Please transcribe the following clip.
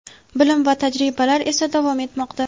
bilim va tajribalar esa davom etmoqda.